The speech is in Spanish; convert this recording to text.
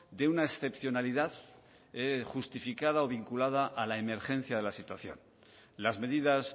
de una excepcionalidad justificada o vinculada a la emergencia de la situación las medidas